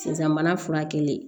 Sisan mana fura kɛlen